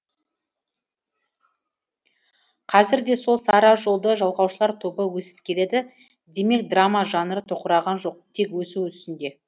қазір де сол сара жолды жалғаушылар тобы өсіп келеді демек драма жанры тоқыраған жоқ тек өсу үстінде